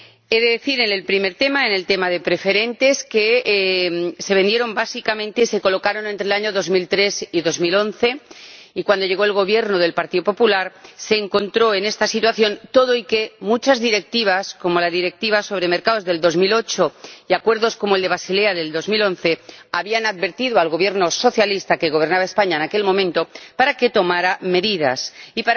He de decir, respecto al tema de las preferentes, que se vendieron básicamente entre los años 2003 y 2011, y cuando llegó el Gobierno del Partido Popular se encontró con esta situación pese a que muchas directivas, como la Directiva sobre mercados de 2008, y acuerdos, como el de Basilea de 2011, habían advertido al Gobierno socialista —que gobernaba España en aquel momento— para que tomara medidas y